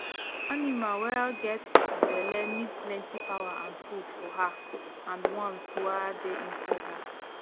animal wa get belle need plenty power and food for her and ones wa da inside her